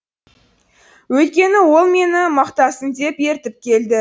өйткені ол мені мақтасын деп ертіп келді